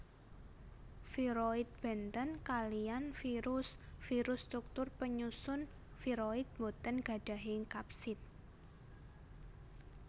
Viroid bèntén kaliyan virus virus struktur penyusun viroid boten gadahi kapsid